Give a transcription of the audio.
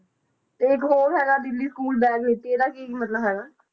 ਤੇ ਇੱਕ ਹੋਰ ਹੈਗਾ ਦਿੱਲੀ school bag ਨੀਤੀ ਇਹਦਾ ਕੀ ਮਤਲਬ ਹੈਗਾ?